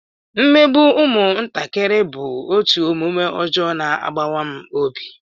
Mmegbu ụmụntakịrị bụ otu omume ọjọọ na-agbawa m obi